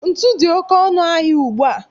Ntu dị oké ọnụ ahịa ugbu a